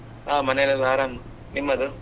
ಹಾ ಮನೆಯಲ್ಲಿ ಎಲ್ಲ ಆರಾಮ್. ನಿಮ್ಮದು?